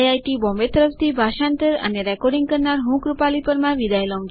IIT Bombay તરફથી ભાષાંતર કરનાર હું કૃપાલી પરમાર વિદાય લઉં છું